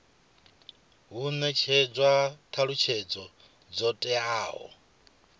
hu netshedzwa thalutshedzo dzo teaho